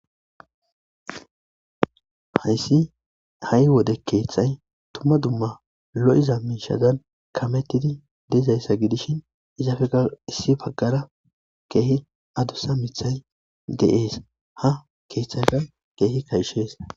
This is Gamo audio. Hayssi ha'i wode keeththay dumma dumma lo'iza miishazan kamettidi de'izayssa gidishin izappekka issi baggara keehi addussa miiththay de'ees ha keeththaykka keehi kayshees